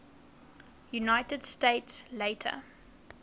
united states later